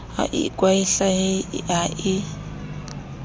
ha a ikwahlahe ha a